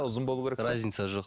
ұзын болуы керек па разница жоқ